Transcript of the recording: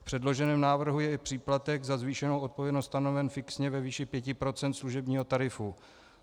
V předloženém návrhu je i příplatek za zvýšenou odpovědnost stanoven fixně ve výši 5 % služebního tarifu.